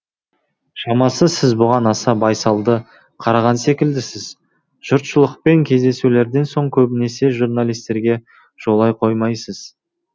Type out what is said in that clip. шамасы сіз бұған аса байсалды қараған секілдісіз жұртшылықпен кездесулерден соң көбінесе журналистерге жолай қоймайсыз